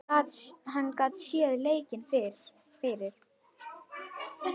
Hann gat séð leikinn fyrir.